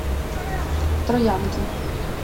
троянки